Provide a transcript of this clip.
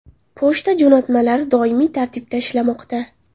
Pochta jo‘natmalari doimiy tartibda ishlamoqda.